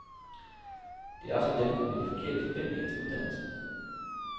Det er også dem med de forkerte forventninger til uddannelsen.